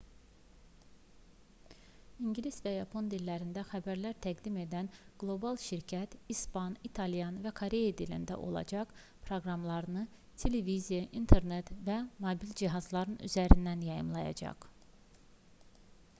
i̇ngilis və yapon dillərində xəbərlər təqdim edən qlobal şirkət i̇span i̇talyan və koreya dilində olacaq proqramlarını televiziya internet və mobil cihazlar üzərindən yayımlayacaq